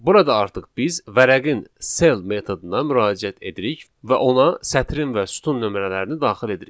Burada artıq biz vərəqin cell metoduna müraciət edirik və ona sətrin və sütun nömrələrini daxil edirik.